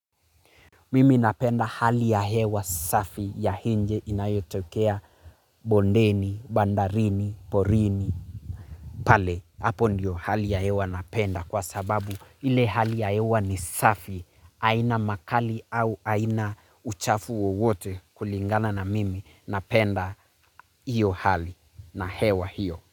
Mimi napenda hali ya hewa safi ya nje inayotokea bondeni, bandarini, porini, pale. Hapo ndiyo hali ya hewa napenda kwa sababu ile hali ya hewa ni safi. Haina makali au haina uchafu wowote kulingana na mimi napenda hiyo hali na hewa hiyo.